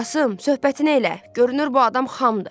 Qasım, söhbətini elə, görünür bu adam xamdı.